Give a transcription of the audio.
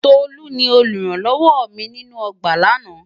Tolú ni olùrànlọ́wọ mi nínú ọgbà lánàá.